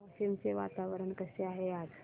वाशिम चे वातावरण कसे आहे आज